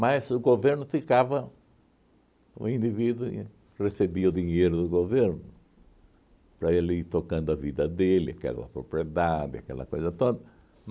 Mas o governo ficava, o indivíduo recebia o dinheiro do governo para ele ir tocando a vida dele, aquela propriedade, aquela coisa toda.